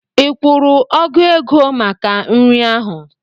Ị kwụrụ ọgụ ego maka nri ahụ?